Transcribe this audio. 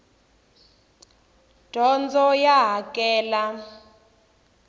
dyondzo ya hakela